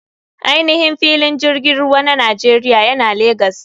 Ainihin filin jirgin ruwa na nigeria yana legas.